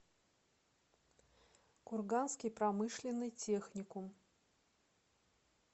курганский промышленный техникум